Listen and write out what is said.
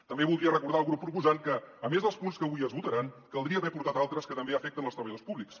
també voldria recordar al grup proposant que a més dels punts que avui es votaran caldria haver ne portat altres que també afecten els treballadors públics